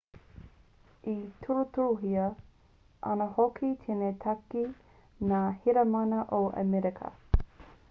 e tirotirohia ana hoki tēnei take e ngā heramana o amerika